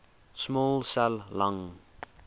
small cell lung